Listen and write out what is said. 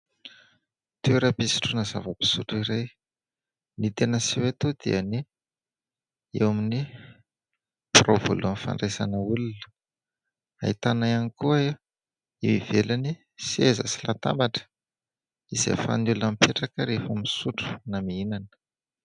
Toeram-pisotroana zava-pisotro iray. Ny tena aseho eto dia ny eo amin'ny birao voalohany fandraisana olona, ahitana ihany koa eo ivelany seza sy latabatra izay ahafahan'ny olona mipetraka rehefa misotro na mihinana.